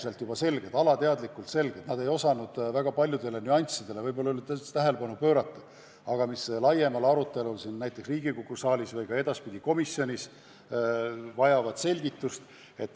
Nende jaoks olid paljud probleemid juba selged ja nad ei osanud väga paljudele nüanssidele ehk üldse tähelepanu pöörata, aga laiemal arutelul siin Riigikogu saalis või ka edaspidi komisjonis vajavad need selgitust.